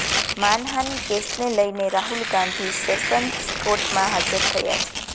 માનહાનિ કેસને લઇને રાહુલ ગાંધી સેશન્સ કોર્ટમાં હાજર થયા છે